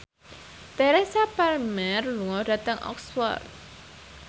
Teresa Palmer lunga dhateng Oxford